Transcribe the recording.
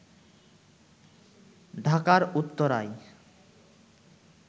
ঢাকার উত্তরায়